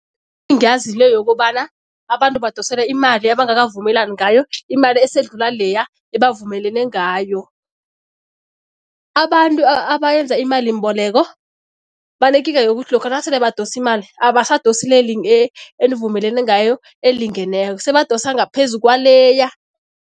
le yokobana abantu badosele imali abangakavumelani ngayo, imali esedlula leya ebavumelene ngayo. Abantu abayenza imalimboleko banekinga yokuthi lokha nasele badosa imali, abasadosi enivumelene ngayo elingeneko, sebadosa ngaphezu kwaleya.